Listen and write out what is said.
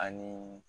Ani